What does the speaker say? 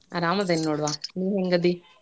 ಅರಾಮದೇನಿ ನೋಡ್ವಾ ನೀ ಹೆಂಗ್ ಅದಿ?